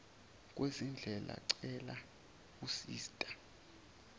kwezindlebe cela usista